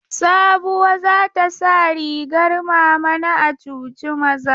Sabuwa za ta sa rigar mama na a cuci maza.